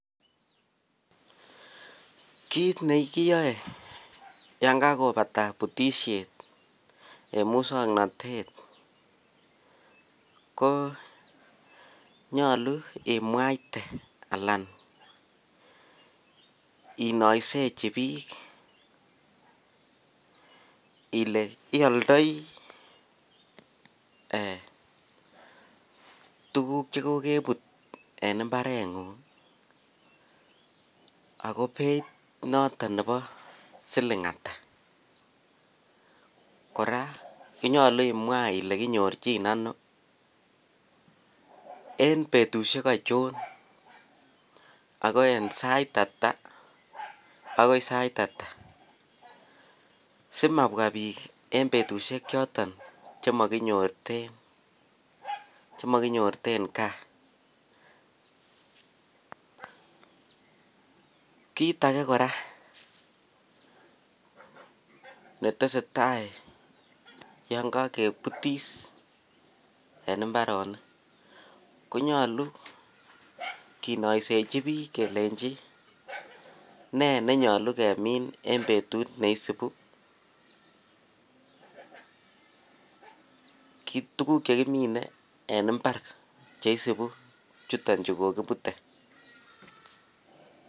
Kiy nekiyoe yon kakopata butisiet en muswoknotet ko nyolu imwaite alan inoisechi biik ile ioldoi ee tuguk chekokebut en mbareng'ung' oko beit noton nebo siling' ata. Kora konyolu imwa ile kinyorchin ono en betusiek ochon ago en sait ata agoi sait ata, simabwa bik en betusiek choton chemokinyorten, chemokinyorten gaa. Kit age kora netesetai yon kokebutis en mbaronok konyolu kinoisechi biik kelenji nee nenyolu kemin en betut neisibu, kit tuguk chekimine cheisibu chuton chekokibute.